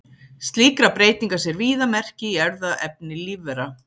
Slíkra breytinga sér víða merki í erfðaefni lífvera.